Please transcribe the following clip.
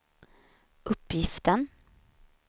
uppgiften